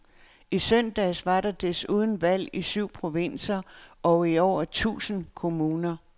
I søndags var der desuden valg i syv provinser og i over tusind kommuner.